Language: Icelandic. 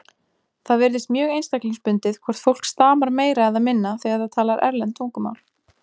Það virðist mjög einstaklingsbundið hvort fólk stamar meira eða minna þegar það talar erlend tungumál.